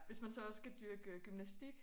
Hvis man så også skal dyrke gymnastik